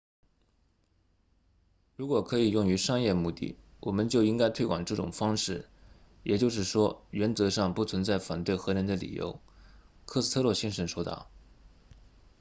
如果可以用于商业目的我们就应该推广这种方式也就是说原则上不存在反对核能的理由科斯特洛先生说道